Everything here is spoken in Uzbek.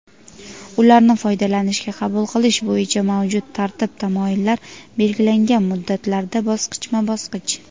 ularni foydalanishga qabul qilish bo‘yicha mavjud tartib-taomillar (belgilangan muddatlarda bosqichma-bosqich).